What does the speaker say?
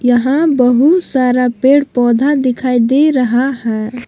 यहां बहुत सारा पेड़ पौधा दिखाई दे रहा है।